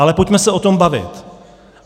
Ale pojďme se o tom bavit.